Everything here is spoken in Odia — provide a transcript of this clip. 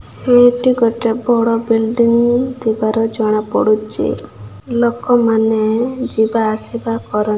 ଦୁଇ ଟି ଗୋଟେ ବଡ଼ ବିଲ୍ଡିଙ୍ଗ ଥିବାର ଜଣା ପଡୁଚି ଲୋକ ମାନେ ଯିବା ଆସିବା କର --